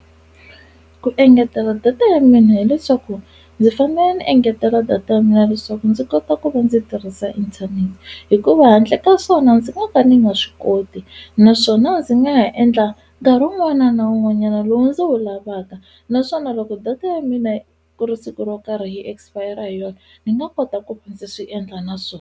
Ku engetela data ya mina hileswaku ndzi fanele ni engetela data ya mina leswaku ndzi kota ku va ndzi tirhisa inthanete hikuva handle ka swona ndzi nga ka ni nga swi koti naswona ndzi nga ha endla nkarhi wun'wana na wun'wanyana lowu ndzi wu lavaka naswona loko data ya mina ku ri siku ro karhi hi expire hi yona ni nga kota ku ndzi swi endla na swona.